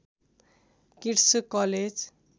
kits college